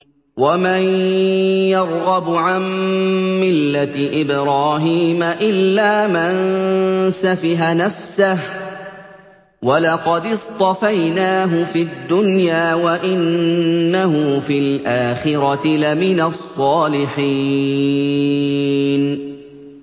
وَمَن يَرْغَبُ عَن مِّلَّةِ إِبْرَاهِيمَ إِلَّا مَن سَفِهَ نَفْسَهُ ۚ وَلَقَدِ اصْطَفَيْنَاهُ فِي الدُّنْيَا ۖ وَإِنَّهُ فِي الْآخِرَةِ لَمِنَ الصَّالِحِينَ